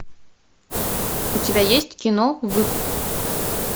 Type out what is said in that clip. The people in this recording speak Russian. у тебя есть кино выкуп